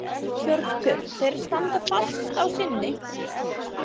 Hjörtur: Þeir standa fast á sínu?